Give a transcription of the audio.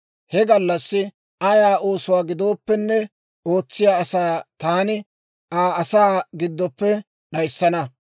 He gallassi ayaa oosuwaa gidooppenne ootsiyaa asaa taani Aa asaa giddoppe d'ayissana.